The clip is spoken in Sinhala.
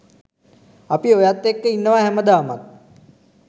අපි ඔයත් එක්ක ඉන්නවා හැමදාමත්.